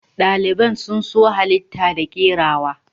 Daliban sun so halita da kerawa.